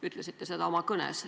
Ütlesite seda oma kõnes.